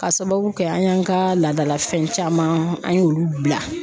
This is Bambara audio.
Ka sababu kɛ an y'an ka laadalafɛn caman an y'olu bila.